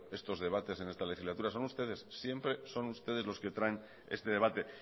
estos debates en esta legislatura son ustedes siempre son ustedes los que traen este debate